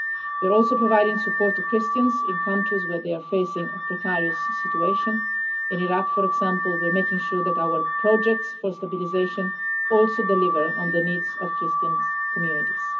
We are also providing support to Christians in countries where they are facing a precarious situation. In Iraq, for example, we are making sure that our projects for stabilisation also deliver on the needs of Christian communities.